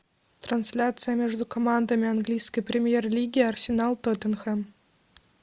трансляция между командами английской премьер лиги арсенал тоттенхэм